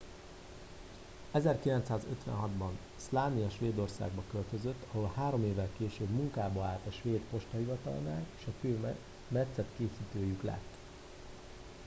1956 ban slania svédországba költözött ahol három évvel később munkába állt a svéd postahivatalnál és a fő metszetkészítőjük lett